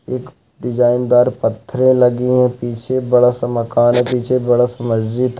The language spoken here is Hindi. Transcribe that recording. एक डिज़ाइनदार पत्थर लगी हैं पीछे बड़ा सा माकन है पीछे बड़ा सा मस्जिद--